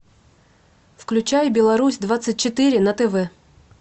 включай беларусь двадцать четыре на тв